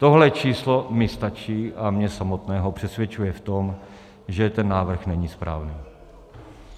Tohle číslo mi stačí a mě samotného přesvědčuje v tom, že ten návrh není správný.